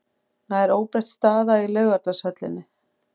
Nær óbreytt staða í Laugardalshöllinni